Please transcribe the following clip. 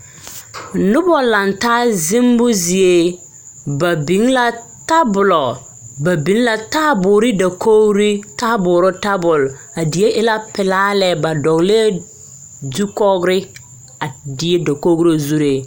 Noba laŋ taa zemmo zie ba biŋ la tabolɔ ba biŋ la taaboore dakogri taaboore tabol a die e la pelaa lɛ ba dɔglɛɛ zukɔgre a die dakogro zuree.